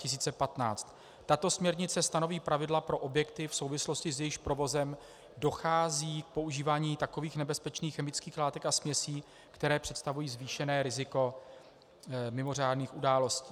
Tato směrnice stanoví pravidla pro objekty, v souvislosti s jejichž provozem dochází k používání takových nebezpečných chemických látek a směsí, které představují zvýšené riziko mimořádných událostí.